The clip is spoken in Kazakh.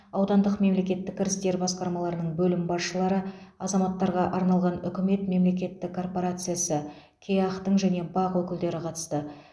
аудандық мемлкеттік кірістер басқармаларының бөлім басшылары азаматтарға арналған үкімет мемлекеттік корпорациясы кеақ тің және бақ өкілдері қатысты